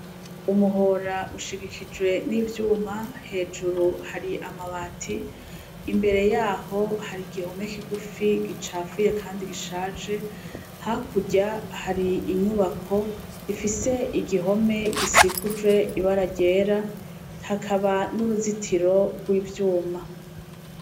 Umuhor' ushigikijwe n'ivyuma, hejuru hari amabati, imbere yaho har'igihome kigufi gicafuye kandi gishaje, hakurya har'inyubak' ifise igihome gisikuje n'ibara ryera, hakaba n'uruzitiro rw'ivyuma.